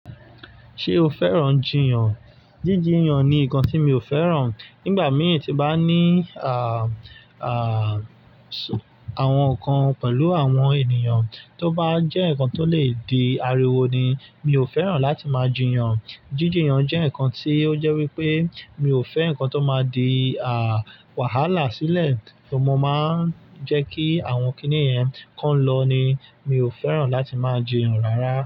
Ṣé o fẹ́ràn jiyàn? Jíjiyàn ni nǹkan tí mi ò fẹ́ràn. Nígbà mí tí bá ní à, à sùn àwọn nǹkan pẹ̀lú àwọn ènìyàn tó bá jẹ́ nǹkan tó lè di ariwo ni, mi ò fẹ́ràn láti máa jiyàn. Jíjiyàn jẹ́ nǹkan tí ó jẹ́ wípé mi ò fẹ́ nǹkan tó máa di à wàhálà sílẹ̀ tó máa ń jẹ́ kí àwọn kìnnìyẹn kan lọ ni. Mi ò fẹ́ràn láti máa jiyàn rárá.